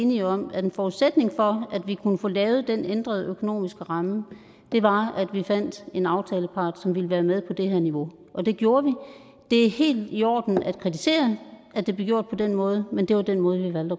enige om at en forudsætning for at vi kunne få lavet den ændrede økonomiske ramme var at vi fandt en aftalepart som ville være med på det her niveau og det gjorde vi det er helt i orden at kritisere at det blev gjort på den måde men det var den måde vi valgte